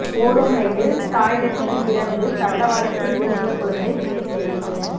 ஓடும் ரயிலில் டாய்லெட்டில் பிறந்து தண்டவாளத்தில் விழுந்த குழந்தை உயிர் பிழைப்பு